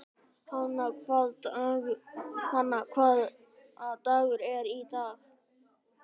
Hanna, hvaða dagur er í dag?